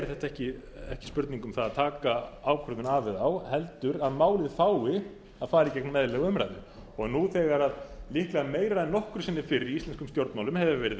þetta ekki spurning um það að taka ákvörðun af eða á heldur að málið fái að fara í gegnum eðlilega umræðu nú þegar líklega meira en nokkru sinni fyrr í íslenskum stjórnmálum hefur